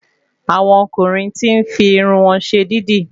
Àwọn ọkùnrin tí n fi Irun wọn ṣe dídì